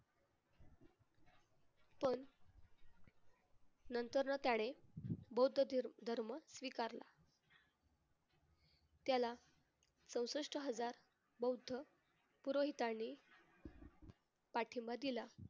पण नंतरनं त्याने बौद्ध धर्म स्वीकारला. त्याला चौसष्ट हजार बौद्ध पुरोहिताने पाठिंबा दिला.